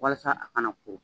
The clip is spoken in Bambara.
Walasa a kana ko